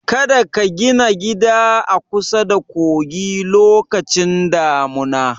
Kada ka gina gida a kusada kogi lokacin damuna!